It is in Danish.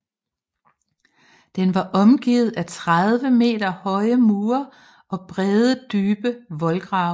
Den var omgivet af 30 meter høje mure og brede dybe voldgrave